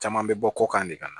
Caman bɛ bɔ kɔkan de ka na